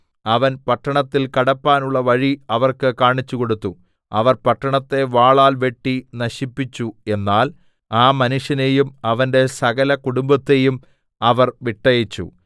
അവൻ പട്ടണത്തിൽ കടപ്പാനുള്ള വഴി അവർക്ക് കാണിച്ചുകൊടുത്തു അവർ പട്ടണത്തെ വാളാൽ വെട്ടി നശിപ്പിച്ചു എന്നാൽ ആ മനുഷ്യനെയും അവന്റെ സകല കുടുംബത്തെയും അവർ വിട്ടയച്ചു